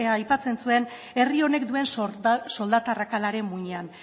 aipatzen zuen herri honek duen soldata arrakalaren muinean